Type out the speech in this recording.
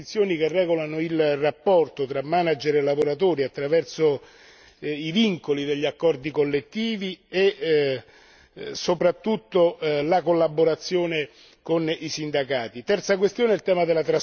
rafforzare le disposizioni che regolano il rapporto tra manager e lavoratori attraverso i vincoli degli accordi collettivi e soprattutto la collaborazione con i sindacati